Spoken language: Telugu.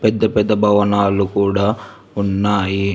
పెద్ద పెద్ద భవనాలు కూడా ఉన్నాయి